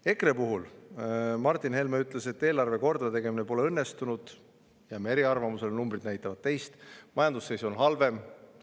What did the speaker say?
EKRE Martin Helme ütles, et eelarve kordategemine pole õnnestunud – jääme eriarvamusele, numbrid näitavad teist – ja et majanduse seis on halvem.